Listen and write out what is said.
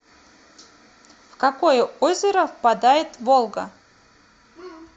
в какое озеро впадает волга